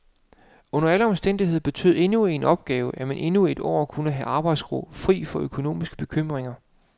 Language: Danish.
Under alle omstændigheder betød endnu en opgave, at man endnu et år kunne have arbejdsro, fri for økonomiske bekymringer.